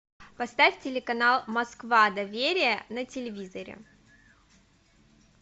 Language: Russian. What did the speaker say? поставь телеканал москва доверия на телевизоре